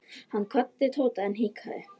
Hann kvaddi Tóta en hikaði.